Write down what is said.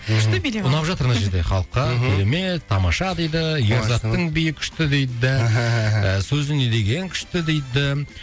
күшті билеп алдық ұнап жатыр мына жерде халыққа мхм керемет тамаша дейді ерзаттың биі күшті дейді сөзі не деген күшті дейді